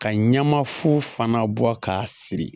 Ka ɲɛma fu fana bɔ k'a siri